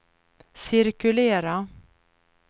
cirkulera